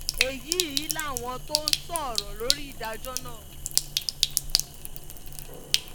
èyí làwọn tó sọ̀rọ̀ lórí ìdájọ́ náà